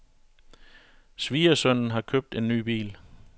Svigersønnen har købt en ny bil.